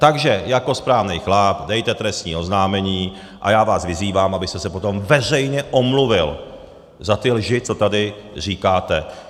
Takže jako správnej chlap dejte trestní oznámení a já vás vyzývám, abyste se potom veřejně omluvil za ty lži, co tady říkáte.